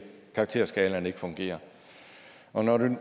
karakterskalaen ikke fungerer og når